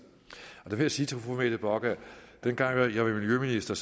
der vil jeg sige til fru mette bock at dengang jeg var miljøminister